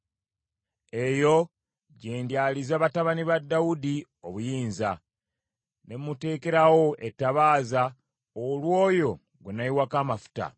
“Eyo gye ndyaliza batabani ba Dawudi obuyinza; ne muteekerawo ettabaaza olw’oyo gwe nayiwako amafuta.